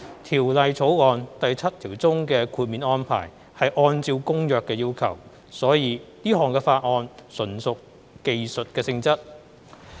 《條例草案》第七條中的豁免安排是按照《公約》的要求，所以這項法案純屬技術性質。